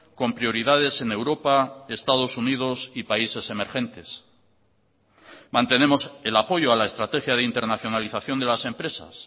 con prioridades en europa estados unidos y países emergentes mantenemos el apoyo a la estrategia de internacionalización de las empresas